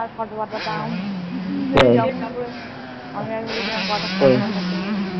photo পাঠাতাম। আমি একবার বলেছিলাম কটা photo পাঠাতে।